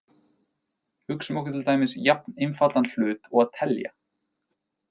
Hugsum okkur til dæmis jafn einfaldan hlut og að telja.